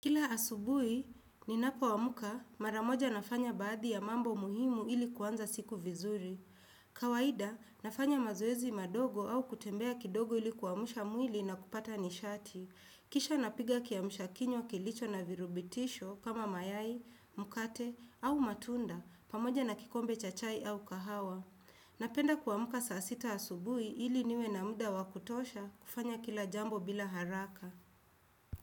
Kila asubui, ninapo wamuka, maramoja nafanya baadhi ya mambo muhimu ili kuanza siku vizuri. Kawahida, nafanya mazoezi madogo au kutembea kidogo ili kuwamusha mwili na kupata nishati. Kisha napiga kiamusha kinyo kilicho na virubitisho kama mayai, mukate au matunda, pamoja na kikombe chachai au kahawa. Napenda kuamaka saasita asubui ili niwe na muda wakutosha kufanya kila jambo bila haraka.